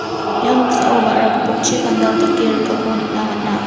ia noksao ba·ra gipokchi pandal dake rikako nikna man·a.